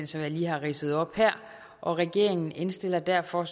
som jeg lige har ridset op her og regeringen indstiller derfor